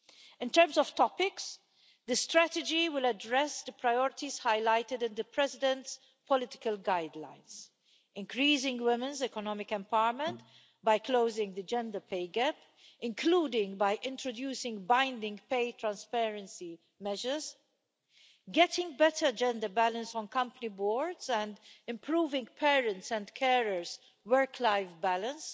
In terms of topics, the strategy will address the priorities highlighted in the President's political guidelines increasing women's economic empowerment by closing the gender pay gap, including by introducing binding pay transparency measures, getting better gender balance on company boards and improving parents' and carers' work life balance.